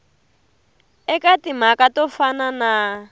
eka timhaka to fana na